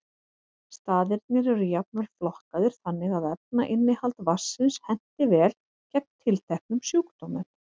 Staðirnir eru jafnvel flokkaðir þannig að efnainnihald vatnsins henti vel gegn tilteknum sjúkdómum.